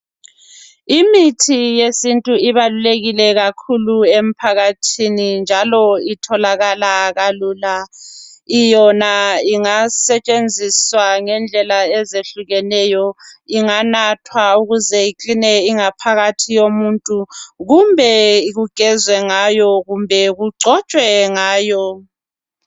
Imithi yesintu ibalulekile kakhulu emphakathini njalo itholakala kalula. Yona ingasetshenziswa ngendlela ezehlukeneyo inganathwa ukuze ikline ingaphakathi yomuntu kumbe kugezwe ngayo kumbe kugcotshwe ngayo.